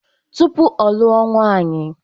Tụpụ ọ lụọ nwaanyi..